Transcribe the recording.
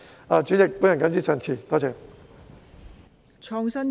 代理主席，我謹此陳辭，多謝。